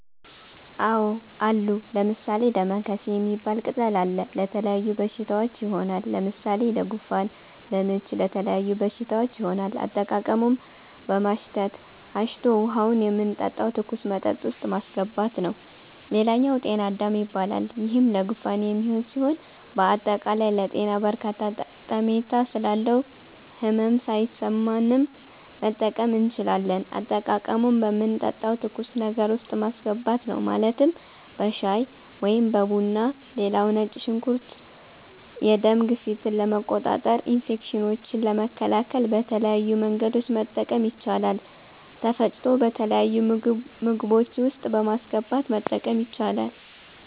አዎ አሉ። ለምሣሌ፦ ደማከሴ ሚባል ቅጠል አለ። ለተለያዩ በሽታዎች ይሆናል። ለምሣሌ ለጉንፋን፣ ለምች ለተለያዩ በሽታዎች ይሆናል። አጠቃቀሙም በማሽተት፣ አሽቶ ውሀውን የምንጠጣው ትኩስ መጠጥ ውስጥ ማሥገባት ነዉ ሌላኛው ጤና -አዳም ይባላል ይሄም ለጉንፋን የሚሆን ሢሆን በአጠቃላይ ለጤና በርካታ ጠሜታ ስላለው ህመም ሣይሠማንም መጠቀም እንችላለን። አጠቃቀሙም በምንጠጣው ትኩስ ነገር ውስጥ ማስገባት ነው ማለትም በሻይ(በቡና ) ሌላው ነጭ ሽንኩርት የደም ግፊትን ለመቆጣጠር፣ ኢንፌክሽኖችን ለመከላከል በተለያዩ መንገዶች መጠቀም ይቻላል ተፈጭቶ በተለያዩ ምግቦች ውስጥ በማስገባት መጠቀም ይቻላል።